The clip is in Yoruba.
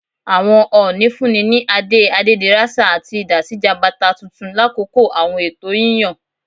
Awọn Ooni funni ni ade Adederasa ati idà si Jabata tuntun lakoko awọn ẹtọ yiyan.